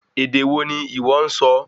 Èdè wo ní ìwọ nsọ?